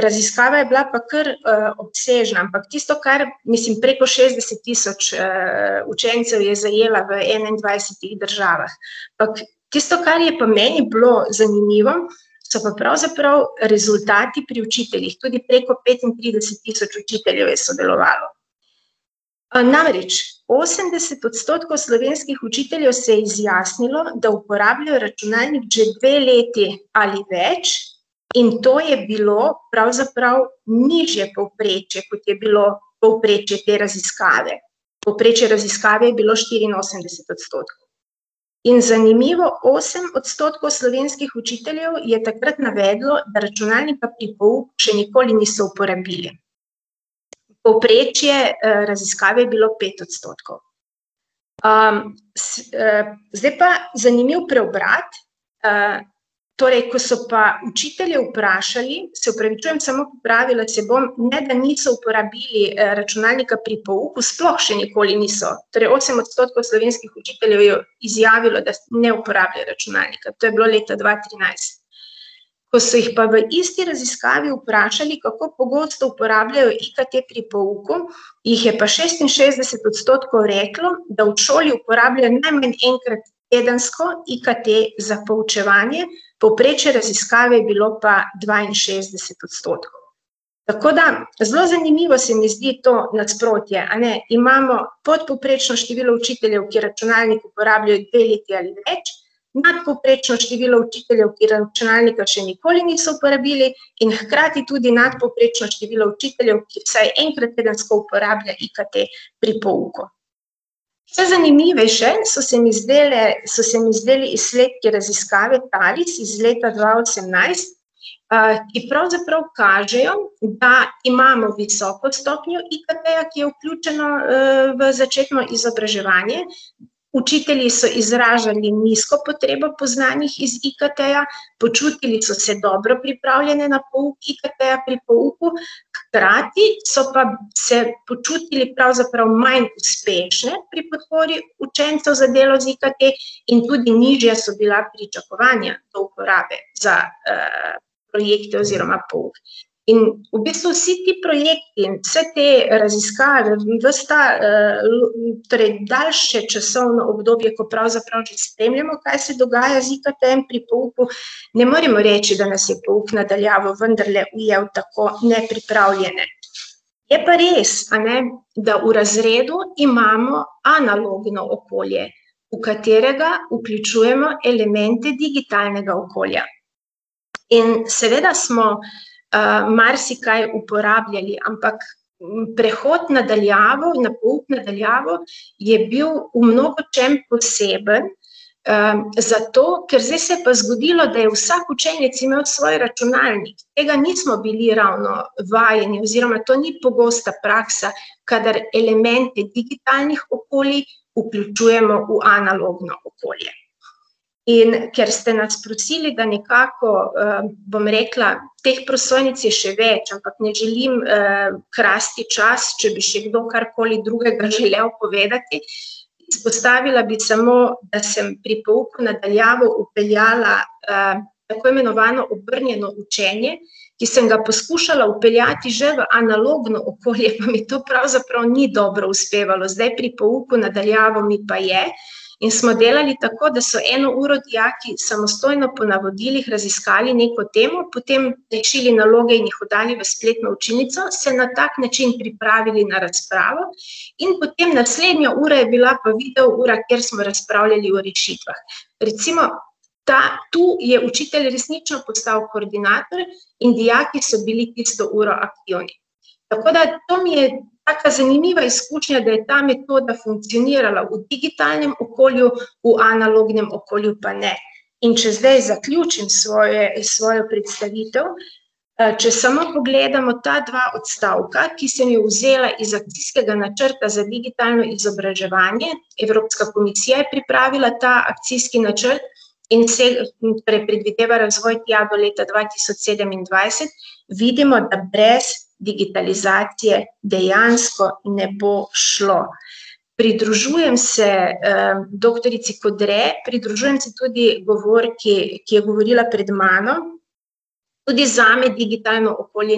raziskava je bila pa kar, obsežna, ampak tisto kar ... Mislim, preko šestdeset tisoč, učencev je zajela v enaindvajsetih državah, ampak tisto, kar je pa meni bilo zanimivo, so pa pravzaprav rezultati pri učiteljih, tudi preko petintrideset tisoč učiteljev je sodelovalo. Namreč osemdeset odstotkov slovenskih učiteljev se je izjasnilo, da uporablja računalnik že dve leti ali več in to je bilo pravzaprav nižje povprečje, kot je bilo povprečje te raziskave. Povprečje raziskave je bilo štiriinosemdeset odstotkov. In zanimivo, osem odstotkov slovenskih učiteljev je takrat navedlo, da računalnika pri pouku še nikoli niso uporabili. Povprečje, raziskave je bilo pet odstotkov. zdaj pa, zanimiv preobrat, torej, ko so pa učitelje vprašali, se opravičujem, samo popravila se bom, ne da niso uporabili računalnika pri pouku, sploh še nikoli niso, torej osem odstotkov slovenskih učiteljev je izjavilo, da ne uporabljajo računalnika. To je bilo leta dva trinajst. Ko so jih pa v isti raziskavi vprašali, kako pogosto uporabljajo IKT pri pouku, jih je pa šestinšestdeset odstotkov reklo, da v šoli uporabljajo najmanj enkrat tedensko IKT za poučevanje, povprečje raziskave je bilo pa dvainšestdeset odstotkov. Tako da zelo zanimivo se mi zdi to nasprotje, a ne, imamo podpovprečno število učiteljev, ki računalnik uporabljajo dve leti ali več, nadpovprečno število učiteljev, ki računalnika še nikoli niso uporabili, in hkrati tudi nadpovprečno število učiteljev, ki vsaj enkrat tedensko uporablja IKT pri pouku. Še zanimivejše so se mi zdajle, so se mi zdeli izsledki raziskave iz leta dva osemnajst, ki pravzaprav kažejo, da imamo visoko stopnjo IKT-ja, ki je vključeno, v začetno izobraževanje, učitelji so izražali nizko potrebo po znanjih iz IKT-ja, počutili so se dobro pripravljene na pouk IKT-ja pri pouku, hkrati so pa se počutili pravzaprav manj uspešne pri podpori učencev za delo z IKT in tudi nižja so bila pričakovanja do uporabe za, projekte oziroma pouk. In v bistvu vsi ti projekti, vse te raziskave, vas ta, torej daljše časovno obdobje, ko pravzaprav že spremljamo, kaj se dogaja z IKT-jem pri pouku, ne moremo reči, da nas je pouk na daljavo vendarle ujel tako nepripravljene. Je pa res, a ne, da v razredu imamo analogno okolje, v katerega vključujemo elemente digitalnega okolja. In seveda smo, marsikaj uporabljali, ampak prehod na daljavo, pouk na daljavo je bil v mnogočem poseben, zato, ker zdaj se je pa zgodilo, da je vsak učenec imel svoj računalnik, tega nismo bili ravno vajeni oziroma to ni pogosta praksa, kadar elemente digitalnih okolij vključujemo v analogno okolje. In ker ste nas prosili, da nekako, bom rekla, teh prosojnic je še več, ampak ne želim, krasti čas, če bi še kdo karkoli drugega želel povedati, izpostavila bi samo, da sem pri pouku na daljavo vpeljala, tako imenovano obrnjeno učenje, ki sem ga poskušala vpeljati že v analogno okolje, pa mi to pravzaprav ni dobro uspevalo, zdaj pri pouku na daljavo mi pa je. In smo delali tako, da so eno uro dijaki samostojno po navodilih raziskali neko temo, potem rešili naloge in jih oddali v spletno učilnico, se na tak način pripravili na razpravo in potem naslednja ura je bila pa videoura, kjer smo razpravljali o rešitvah. Recimo ta, tu je učitelj resnično postal koordinator in dijaki so bili tisto uro aktivni. Tako da to mi je taka zanimiva izkušnja, da je ta metoda funkcionirala v digitalnem okolju, v analognem okolju pa ne. In če zdaj zaključim svoje, svojo predstavitev, če samo pogledamo ta dva odstavka, ki sem jo vzela iz akcijskega načrta za digitalno izobraževanje, Evropska komisija je pripravila ta akcijski načrt, in in predvideva razvoj tja do leta dva tisoč sedemindvajset, vidimo, da brez digitalizacije dejansko ne bo šlo. Pridružujem se, doktorici Kodre, pridružujem se tudi govorki, ki je govorila pred mano, tudi zame digitalno okolje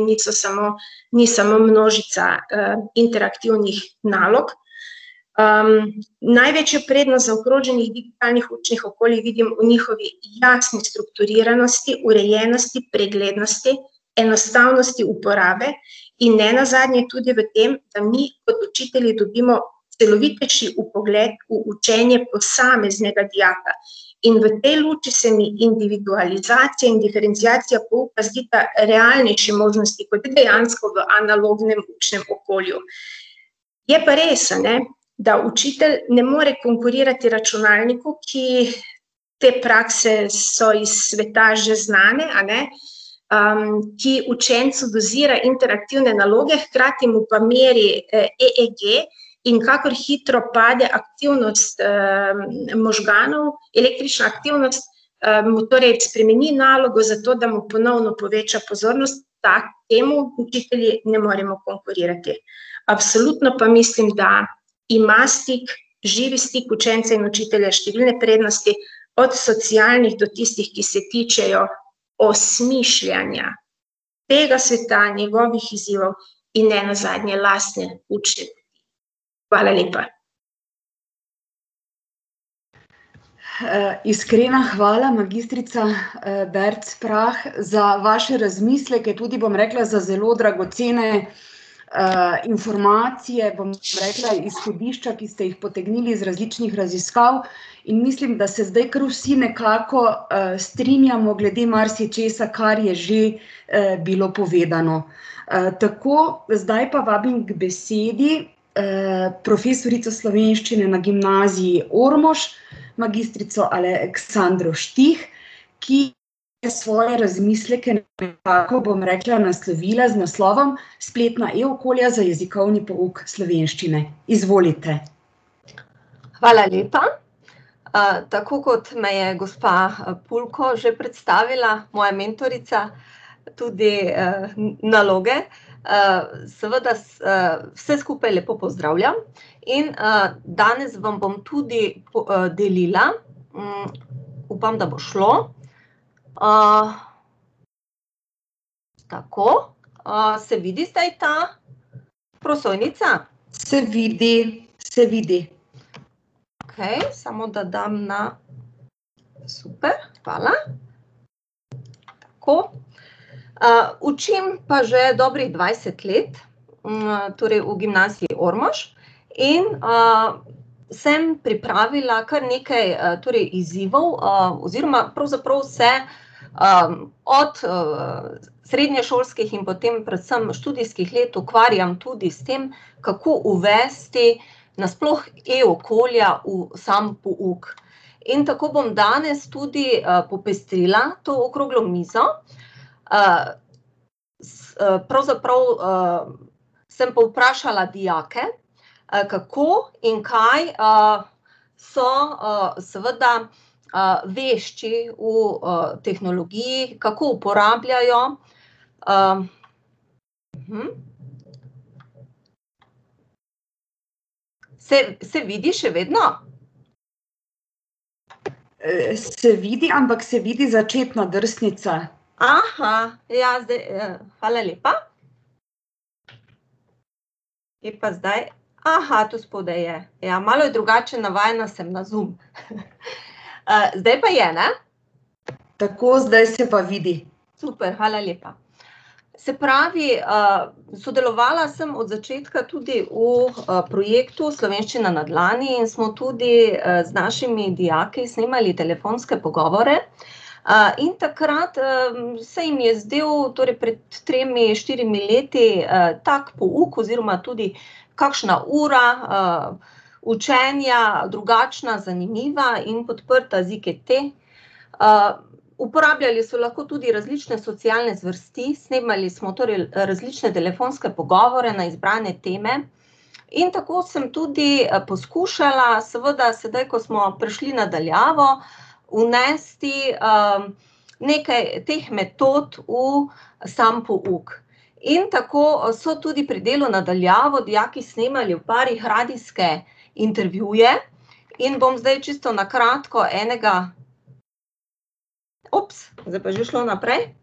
niso samo, ni samo, množica iterativnih nalog, največjo prednost zaokroženih digitalnih učnih okoljih vidim v njihovi jasni strukturiranosti, urejenosti, preglednosti, enostavnosti uporabe in nenazadnje tudi v tem, da mi kot učitelji dobimo stanovitnejši vpogled v učenje posameznega dijaka. In v tej luči se mi individualizacija in diferenciacija pouka zdita realnejši možnosti kot dejansko v analognem učnem okolju. Je pa res, a ne, da učitelj ne more konkurirati računalniku, ki, te prakse so iz sveta že znane, a ne, ki učencu dozira interaktivne naloge, hkrati mu pa meri, EEG in kakor hitro pade aktivnost, možganov, električna aktivnost, mu torej spremeni nalogo, zato da mu ponovno poveča pozornost, temu učitelji ne moremo konkurirati. Absolutno pa mislim, da ima stik, živi stik učenca in učitelja številne prednosti, od socialnih do tistih, ki se tičejo osmišljanja tega sveta, njegovih izzivov in nenazadnje lastne učne ... Hvala lepa. iskrena hvala, magistrica, Bevc Prah za vaše razmisleke, tudi, bom rekla, za zelo dragocene, informacije, bom rekla, izhodišča, ki ste jih potegnili iz različnih raziskav, in mislim, da se zdaj kar vsi nekako, strinjamo glede marsičesa, kar je že, bilo povedano. tako, zdaj pa vabim k besedi, profesorico slovenščine na Gimnaziji Ormož, magistrico Aleksandro Štih, ki je svoje razmisleke nekako, bom rekla, naslovila z naslovom Spletna e-okolja za jezikovni pouk slovenščine. Izvolite. Hvala lepa. tako kot me je gospa, Pulko že predstavila, moja mentorica, tudi, naloge, seveda vse skupaj lepo pozdravljam. In danes vam bom tudi delila. upam, da bo šlo. Tako. se vidi zdaj ta prosojnica? Se vidi. Se vidi. Okej, samo da dam na ... Super, hvala. Tako. učim pa že dobrih dvajset let, torej v Gimnaziji Ormož. In sem pripravila kar nekaj, torej izzivov, oziroma pravzaprav se, od, srednješolskih in potem predvsem študijskih let ukvarjam tudi s tem, kako uvesti nasploh e-okolja v sam pouk. In tako bom danes tudi, popestrila to okroglo mizo, pravzaprav, sem povprašala dijake, kako in kaj, so, seveda, vešči v, tehnologiji, kako uporabljajo ... Se, se vidi še vedno? se vidi, ampak se vidi začetno drsnico. ja, zdaj, hvala lepa. Bi pa zdaj ... tu spodaj je, ja, malo je drugače, navajena sem na Zoom. zdaj pa je, ne? Tako, zdaj se pa vidi. Super, hvala lepa. Se pravi, sodelovala sem od začetka tudi v, projektu Slovenščina na dlani in smo tudi, z našimi dijaki snemali telefonske pogovore. in takrat, se jim je zdel, torej pred tremi, štirimi leti, tako pouk oziroma tudi kakšna ura učenja drugačna, zanimiva in podprta z IKT. uporabljali so lahko tudi različne socialne zvrsti, snemali smo torej različne telefonske pogovore na izbrane teme in tako sem tudi, poskušala, seveda sedaj, ko smo prišli na daljavo, vnesti, nekaj teh metod v sam pouk. In tako so tudi pri delu na daljavo dijaki snemali v parih radijske intervjuje in bom zdaj čisto na kratko enega ... Zdaj je pa že šlo naprej.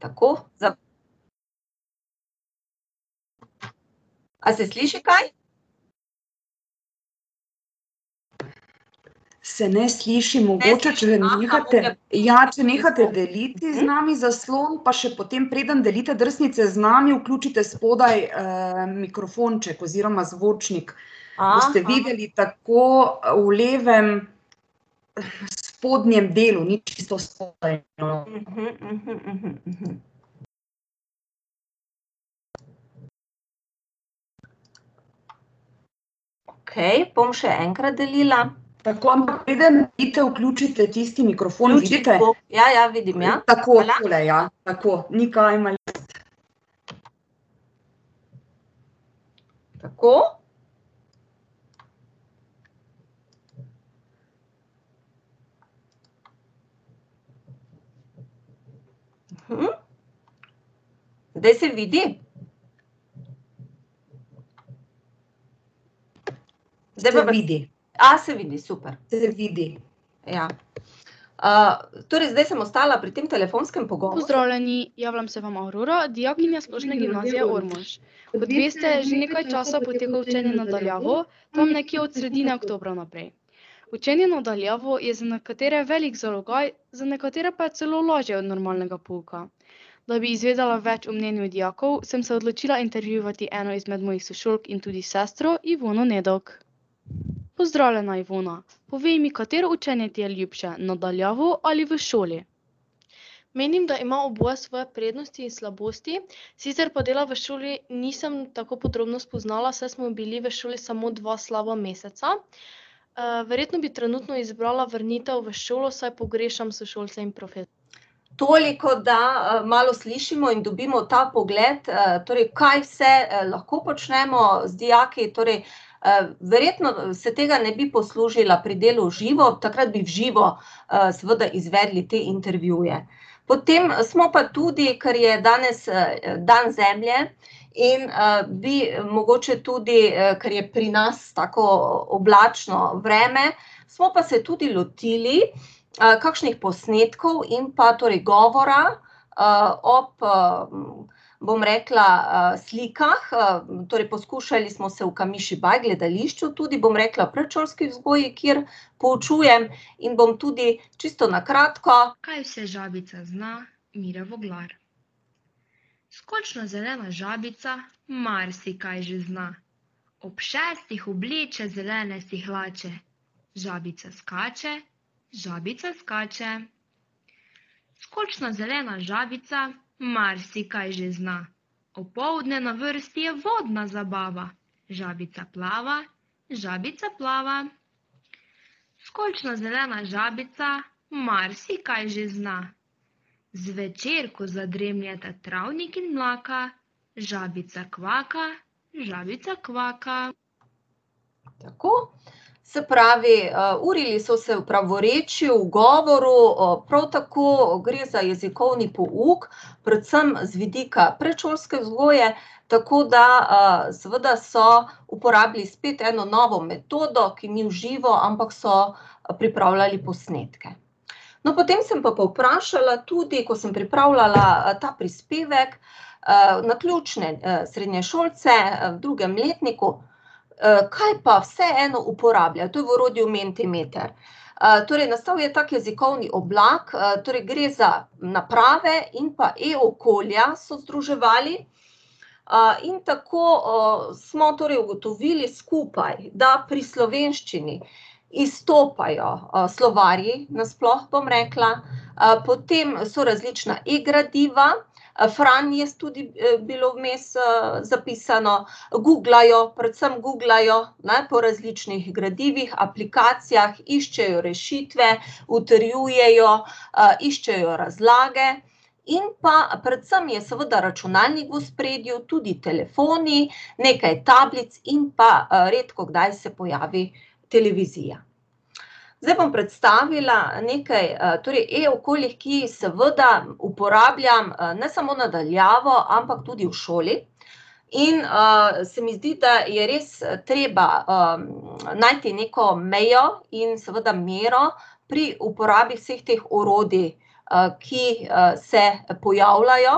Tako, ... A se sliši kaj? Se ne sliši, mogoče če nehate, ja, če nehate deliti z nami zaslon pa še potem preden delite drsnice z nami, vključite spodaj, mikrofonček oziroma zvočnik. Boste videli tako v levem spodnjem delu, ni čisto spodaj, no. Okej, bom še enkrat delila. Tako, ampak preden vi to vključite tisti mikrofon ... Ja, ja, vidim, ja. Tako, tule, ja. Tako, ni kaj . Tako. Zdaj se vidi? Zdaj pa vidi. se vidi, super. Se vidi. Ja. torej zdaj sem ostala pri tem telefonskem pogovoru ... Toliko, da, malo slišimo in dobimo ta vpogled, torej kaj vse lahko počnemo z dijaki, torej, verjetno se tega ne bi poslužila pri delu v živo, takrat bi v živo, seveda izvedli te intervjuje. Potem smo pa tudi, kar je danes, dan zemlje, in, bi mogoče tudi, kar je pri nas tako oblačno vreme, smo pa se tudi lotili, kakšnih posnetkov in pa torej govora, ob, bom rekla, slikah, torej poskušali smo se v gledališču tudi, bom rekla, predšolski vzgoji, kjer poučujem, in bom tudi čisto na kratko ... Tako. Se pravi, urili so se v pravorečju, govoril, prav tako gre za jezikovni pouk, predvsem z vidika predšolske vzgoje, tako da, seveda so uporabili spet eno novo metodo, ki ni v živo, ampak so, pripravljali posnetke. No, potem sem pa povprašala tudi, ko sem pripravljala, ta prispevek, naključne, srednješolce, v drugem letniku, kaj pa vseeno uporablja, to je v orodju Mentimeter. torej nastal je tako jezikovni oblak, torej gre za naprave in pa e-okolja so združevali, in tako, smo torej ugotovili skupaj, da pri slovenščini izstopajo, slovarji, nasploh, bom rekla, potem so različna e-gradiva, Fran je tudi bilo vmes, zapisano, guglajo, predvsem guglajo, ne, po različnih gradivih, aplikacijah, iščejo rešitve, utrjujejo, iščejo razlage, in pa predvsem je seveda računalnik v ospredju, tudi telefoni, nekaj tablic in pa, redkokdaj se pojavi televizija. Zdaj bom predstavila nekaj, torej e-okolij, ki jih seveda uporabljam ne samo na daljavo, ampak tudi v šoli. In, se mi zdi, da je res treba, najti neko mejo in seveda mero pri uporabi vseh teh orodij, ki, se pojavljajo.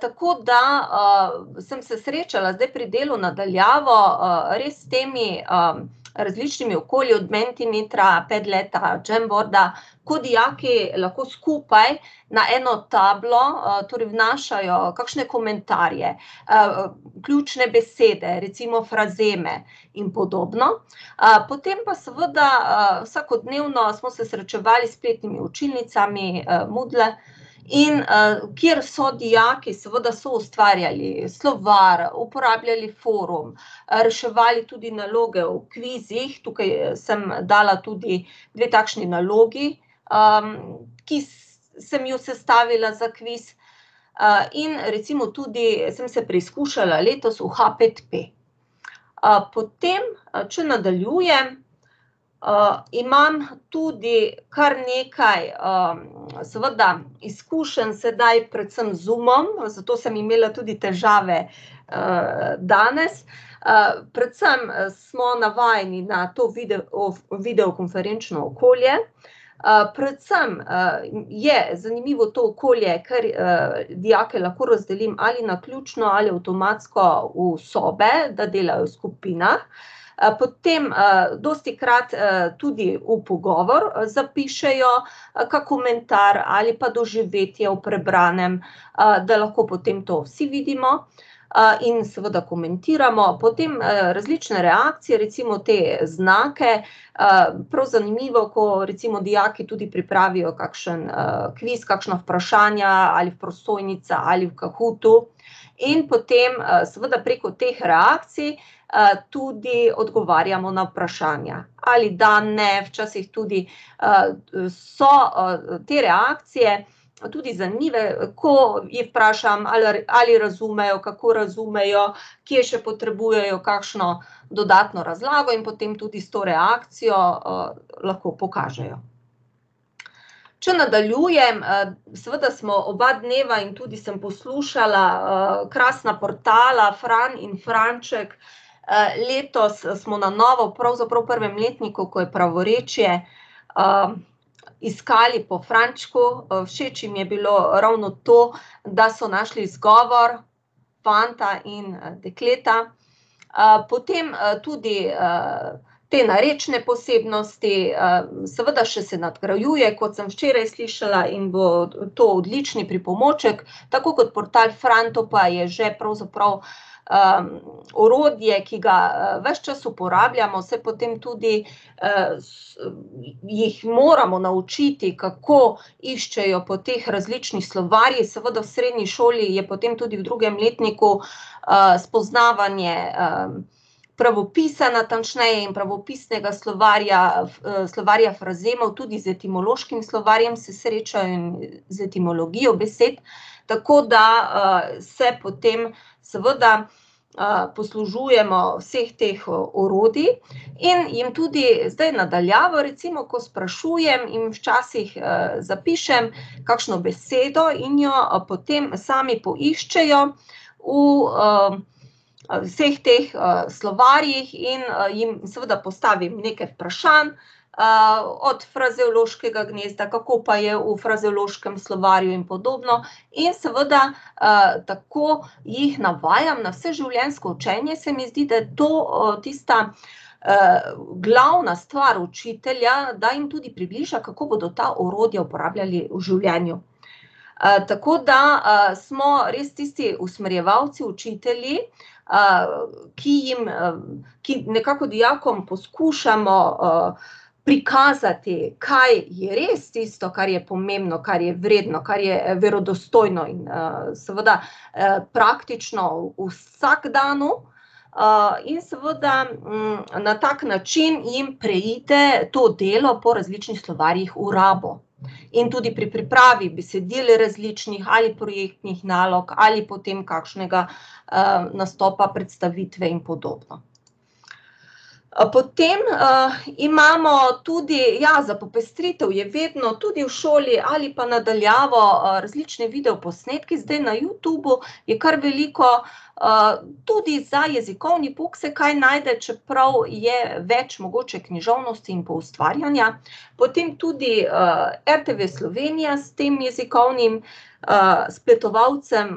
tako da, sem se srečala zdaj pri delu na daljavo, res s temi, različnimi okolji, od Mentimetra, Padleta, Jamboarda, ko dijaki lahko skupaj na eno tablo, torej vnašajo kakšne komentarje, ključne besede, recimo frazeme in podobno. potem pa seveda, vsakodnevno smo se srečevali s spletnimi učilnicami, in, kjer so dijaki seveda soustvarjali slovar, uporabljali forum, reševali tudi naloge v kvizih, tukaj, sem dala tudi dve takšni nalogi, ki sem ju sestavila za kviz. in recimo tudi sem se preizkušala letos v HpetP. potem če nadaljujem, imam tudi kar nekaj, seveda izkušenj sedaj predvsem z Zoomom, zato sem imela tudi težave, danes, predvsem smo navajeni na to video videokonferenčno okolje, predvsem, je zanimivo to okolje, ker, dijake lahko razdelim ali naključno ali avtomatsko v sobe, da delajo v skupinah. potem, dostikrat, tudi v pogovor, zapišejo kak komentar ali pa doživetje o prebranem, da lahko potem to vsi vidimo, in seveda komentiramo, potem, različne reakcije, recimo te znamke, prav zanimivo, ko recimo dijaki tudi pripravijo kakšen, kviz, kakšna vprašanja, ali v prosojnicah ali v Cahootu. In potem, seveda preko teh reakcij tudi odgovarjamo na vprašanja, ali da-ne, včasih tudi, so, te reakcije tudi zanimive, ko jih vprašam, ali ali razumejo, kako razumejo, kje še potrebujejo kakšno dodatno razlago, in potem tudi s to reakcijo, lahko pokažejo. Če nadaljujem, seveda smo oba dneva, in tudi sem poslušala, krasna portala Fran in Franček, letos smo na novo, pravzaprav v prvem letniku, ko je pravorečje, iskali po Frančku, všeč jim je bilo ravno to, da so našli izgovor fanta in dekleta. potem, tudi, te narečne posebnosti, seveda še se nadgrajuje, kot sem včeraj slišala, in bo to odlični pripomoček tako kot portal Fran, to pa je že pravzaprav, orodje, ki ga, ves čas uporabljamo, saj potem tudi, jih moramo naučiti, kako iščejo po teh različnih slovarjih, seveda v srednji šoli je potem tudi v drugem letniku, spoznavanje, pravopisa natančneje in pravopisnega slovarja, slovarja frazemov, tudi z etimološkim slovarjem se srečajo in z etimologijo besed. Tako da, se potem seveda, poslužujemo vseh teh orodij in jim tudi zdaj na daljavo recimo, ko sprašujem in včasih, zapišem kakšno besedo in jo potem sami poiščejo v, vseh teh, slovarjih in, jim seveda postavim nekaj vprašanj, od frazeološkega gnezda, kako pa je v frazeološkem slovarju in podobno, in seveda, tako jih navajam na vseživljenjsko učenje, se mi zdi, da to, tista, glavna stvar učitelja, da jim tudi približa, kako bodo ta orodja uporabljali v življenju. tako da, smo res tisti usmerjevalci učitelji, ki jim, ki nekako dijakom poskušamo, prikazati, kaj je res tisto, kar je pomembno, kar je vredno, kar je verodostojno in, seveda, praktično v vsakdanu. in seveda, na tak način jim prejete to delo po različnih slovarjih v rabo. In tudi pri pripravi besedil različnih ali projektnih nalog ali potem kakšnega, nastopa, predstavitve in podobno. potem, imamo tudi, ja, za popestritev je vedno tudi v šoli ali pa na daljavo, različni videoposnetki zdaj na Youtubu, je kar veliko, tudi za jezikovni pouk se kaj najde, čeprav je več mogoče književnosti in poustvarjanja. Potem tudi, RTV Slovenija s tem jezikovnim spletovalcem,